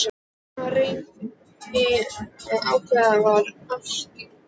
Hvað réði því að ákveðið var að afskrifa?